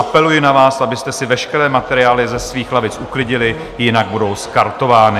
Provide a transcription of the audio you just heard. Apeluji na vás, abyste si veškeré materiály ze svých lavic uklidili, jinak budou skartovány.